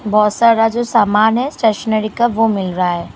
बहुत सारा जो सामान है स्टेशनरी का वो मिल रहा है।